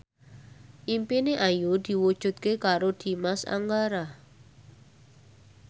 impine Ayu diwujudke karo Dimas Anggara